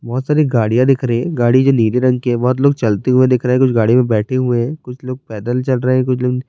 بھوت ساری گاڑیا دیکھ رہی ہے۔ گاڑی بھی نیلے رنگ کی ہے۔ بھوت لوگ چلتے ہوئے دیکھ رہی ہے۔ کچھ گاڑی مے بیٹھے ہوئے ہے۔ کچھ لوگ پیدل چل رہے ہے۔ کچھ--